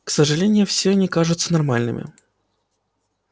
к сожалению все они кажутся нормальными